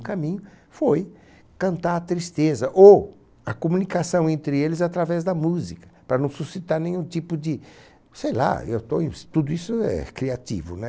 O caminho foi cantar a tristeza ou a comunicação entre eles através da música, para não suscitar nenhum tipo de... Sei lá, eu estou em... tudo isso é criativo, né?